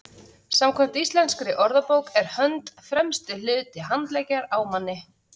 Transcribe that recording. samkvæmt íslenskri orðabók er hönd „fremsti hluti handleggjar á manni